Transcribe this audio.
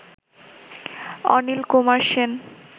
Anil Kumar Sen